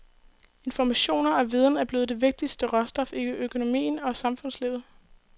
Informationer og viden er blevet det vigtigste råstof i økonomien og samfundslivet.